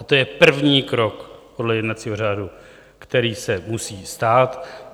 A to je první krok podle jednacího řádu, který se musí stát.